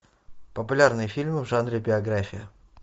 популярные фильмы в жанре биография